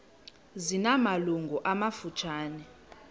zina malungu amafutshane